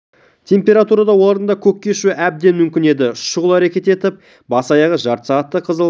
температурада олардың да көкке ұшуы әбден мүмкін еді шұғыл әрекет етіп бас-аяғы жарты сағатта қызыл